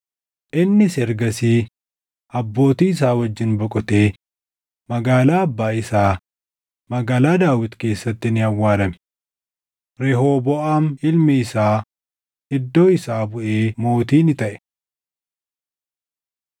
Innis ergasii abbootii isaa wajjin boqotee magaalaa abbaa isaa, magaalaa Daawit keessatti ni awwaalame. Rehooboʼaam ilmi isaa iddoo isaa buʼee mootii ni taʼe.